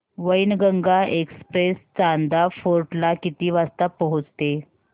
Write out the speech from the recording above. Wainganga express Chanda fort ला किती वाजता पोहचते